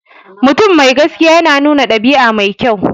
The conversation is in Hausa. Mutum mai gaskiya yana nuna ɗabi'a mai kyau.